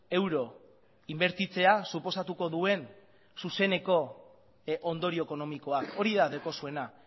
euro inbertitzea suposatuko duen zuzeneko ondorio ekonomikoa hori da daukazuena